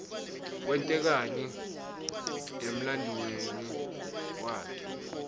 kwente kani emlanduuemi waklte